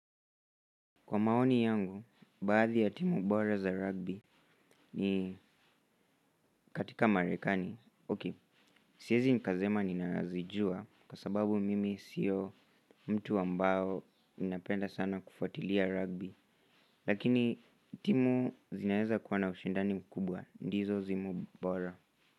Kwa maoni yangu, baadhi ya timu bora za rugby ni katika marekani. Okay, siezi nikasema ninazijua kwa sababu mimi sio mtu ambao ninapenda sana kufuatilia rugby lakini timu zinaeza kuwa na ushindani mkubwa, ndizo timu bora.